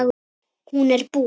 Hún er bús.